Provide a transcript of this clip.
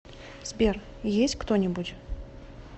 сбер есть кто нибудь